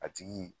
A tigi